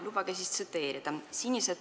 Lubage siis tsiteerida.